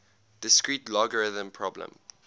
discrete logarithm problem